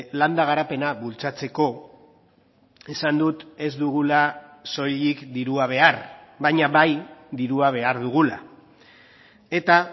landa garapena bultzatzeko esan dut ez dugula soilik dirua behar baina bai dirua behar dugula eta